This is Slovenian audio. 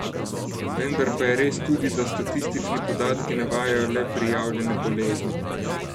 Vendar pa je res tudi, da statistični podatki navajajo le prijavljene bolezni.